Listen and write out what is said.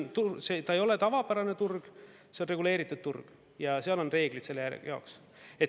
Ta ei ole tavapärane turg, see on reguleeritud turg ja seal on reeglid jaoks.